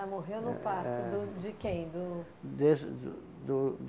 morreu no parto do de quem? Do... Desse do do